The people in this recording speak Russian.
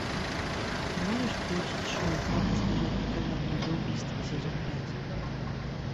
ты можешь включить шоу как избежать наказания за убийство сезон пять